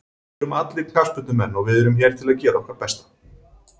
Við erum allir knattspyrnumenn og við erum hér til að gera okkar besta.